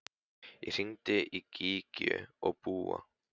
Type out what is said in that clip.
Ég hringdi í Gígju og Búa.